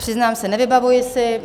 Přiznám se, nevybavuji si.